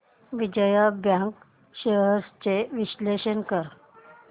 Vijaya bank shares चे विश्लेषण कर